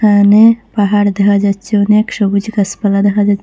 এহানে পাহাড় দেহা যাচ্ছে অনেক সবুজ গাছপালা দেখা যা--